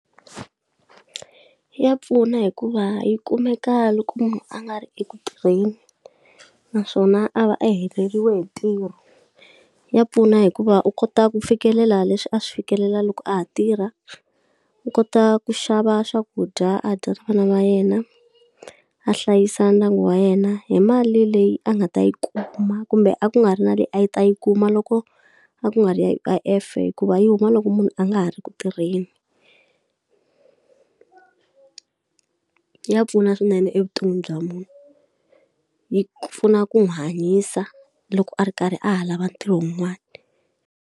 Ya pfuna hikuva yi kumeka loko munhu a nga ri eku tirheni, naswona a va a heleriwe hi ntirho. Ya pfuna hikuva u kota ku fikelela leswi a swi fikelela loko a ha tirha, u kota ku xava swakudya a dya na vana va yena, a hlayisa ndyangu wa yena hi mali leyi a nga ta yi kuma. Kumbe a ku nga ri na leyi a yi ta yi kuma loko a ku nga ri U_I_F hikuva yi huma loko munhu a nga ha ri ku tirheni ya pfuna swinene evuton'wini bya munhu, yi pfuna ku n'wi hanyisa loko a ri karhi a ha lava ntirho wun'wana.